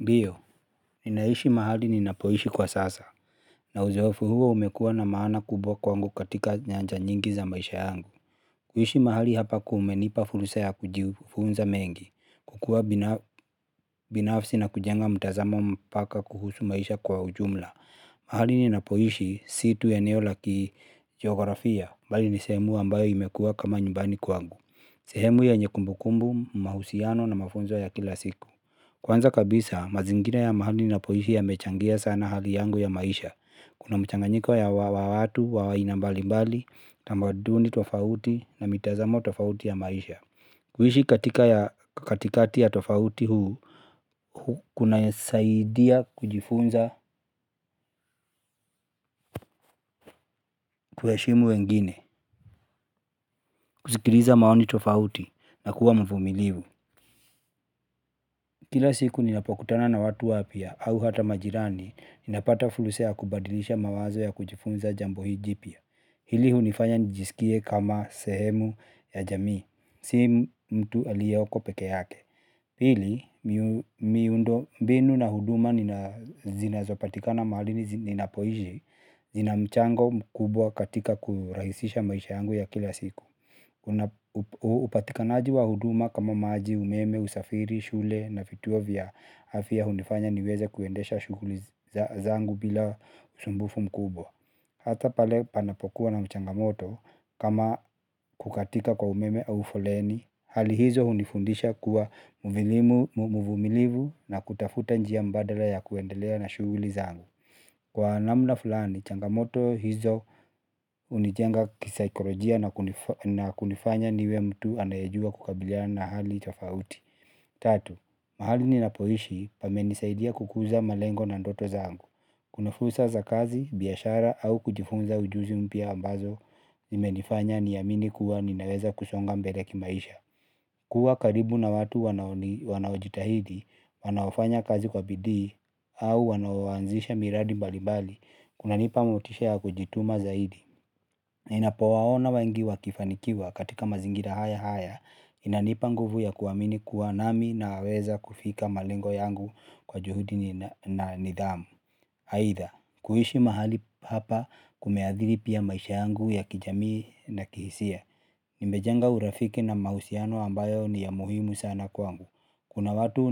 Ndiyo, ninaishi mahali ninapoishi kwa sasa, na uzoefu huo umekuwa na maana kubwa kwangu katika nyanja nyingi za maisha yangu. Kuishi mahali hapa kumenipa fursa ya kujifunza mengi, kukuwa binafsi na kujenga mtazamo mpaka kuhusu maisha kwa ujumla. Mahali ninapoishi si tu eneo la kijiografia, bali ni sehemu ambayo imekuwa kama nyumbani kwangu. Sehemu yenye kumbukumbu, mahusiano na mafunzo ya kila siku. Kwanza kabisa, mazingira ya mahali ninapoishi yamechangia sana hali yangu ya maisha. Kuna mchanganyiko wa watu wa aina mbalimbali, tamaduni tofauti na mitazamo tofauti ya maisha. Kuishi katikati ya tofauti huu kunasaidia kujifunza kuheshimu wengine, kusikiliza maoni tofauti na kuwa mvumilivu. Kila siku ninapokutana na watu wapya, au hata majirani, ninapata fursa ya kubadilisha mawazo ya kujifunza jambo hii jipya. Hili hunifanya nijisikie kama sehemu ya jamii, si mtu aliyoko peke yake. Pili, miundombinu na huduma zinazopatikana mahali ninapoishi zina mchango mkubwa katika kurahisisha maisha yangu ya kila siku. Kuna upatikanaji wa huduma kama maji, umeme, usafiri, shule na vituo vya afya hunifanya niweze kuendesha shughuli zangu bila usumbufu mkubwa. Hata pale panapokuwa na changamoto kama kukatika kwa umeme au foleni hali hizo hunifundisha kuwa mvumilivu na kutafuta njia mbadala ya kuendelea na shughuli zangu kwa namna fulani changamoto hizo hunijenga kisaikolojia na kunifanya niwe mtu anayejua kukabiliana na hali tofauti. Tatu, mahali ninapoishi pamenisaidia kukuza malengo na ndoto zangu. Kuna fursa za kazi, biashara au kujifunza ujuzi mpya ambazo zimenifanya niamini kuwa ninaweza kusonga mbele kimaisha. Kuwa karibu na watu wanaojitahidi, wanaofanya kazi kwa bidii, au wanaoanzisha miradi mbalimbali kunanipa motisha ya kujituma zaidi. Ninapowaona wengi wakifanikiwa katika mazingira haya haya, inanipa nguvu ya kuamini kuwa nami naweza kufika malengo yangu kwa juhudi na nidhamu. Aidha, kuishi mahali hapa kumeathiri pia maisha yangu ya kijamii na kihisia. Nimejenga urafiki na mahusiano ambayo ni ya muhimu sana kwangu kuna watu